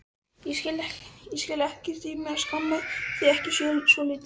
Ég skil ekkert í mér að skamma þig ekki svolítið.